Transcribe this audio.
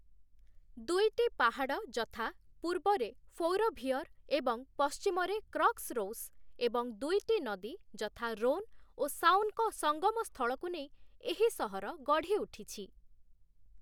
ଦୁଇଟି ପାହାଡ଼ ଯଥା ପୂର୍ବରେ 'ଫୌରଭିଅର' ଏବଂ ପଶ୍ଚିମରେ 'କ୍ରକ୍ସରୌସ' ଏବଂ ଦୁଇଟି ନଦୀ ଯଥା 'ରୋନ୍' ଓ 'ସାଓନ' ଙ୍କ ସଙ୍ଗମ ସ୍ଥଳକୁ ନେଇ ଏହି ସହର ଗଢ଼ିଉଠିଛି ।